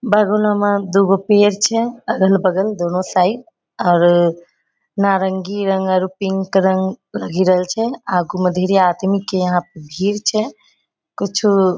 बागवनो में दूगो पेड़ छै अगल-बगल दोनो साइड आउरो नारंगी रंग और पिंक रंग लगी रहल छै आगु मे ढेरी आदमी के यहाँ भीड़ छै कुछु --